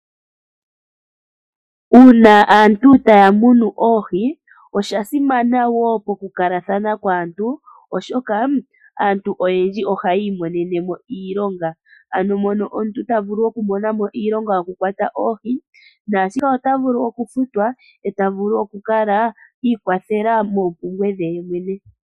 Uuna aantu taya munu oohi osha simana wo pokukalathana kwaantu oshoka aantu oyendji ohaya imonene mo iilonga. Ano mono omuntu ta vulu okumona mo iilonga yokukwata oohi nasho ota vulu okufutwa eta vulu okukala ikwathela moompumbwe dhe yemwene.